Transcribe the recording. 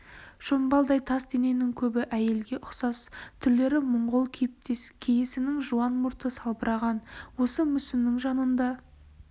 шомбалдай тас дененің көбі әйелге ұқсас түрлері монғол кейіптес кейісінің жуан мұрты салбыраған осы мүсіннің жанында